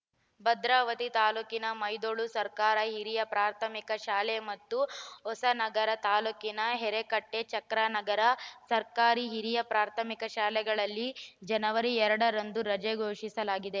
ಭದ್ರಾವತಿ ತಾಲೂಕಿನ ಮೈದೊಳಲು ಸರ್ಕಾರಿ ಹಿರಿಯ ಪ್ರಾಥಮಿಕ ಶಾಲೆ ಮತ್ತು ಹೊಸನಗರ ತಾಲೂಕಿನ ಹೆರಕಟ್ಟೆಚಕ್ರಾನಗರ ಸರ್ಕಾರಿ ಹಿರಿಯ ಪ್ರಾಥಮಿಕ ಶಾಲೆಗಳಿಗೆ ಜನವರಿ ಎರಡ ರಂದು ರಜೆ ಘೋಷಿಸಲಾಗಿದೆ